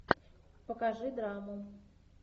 покажи драму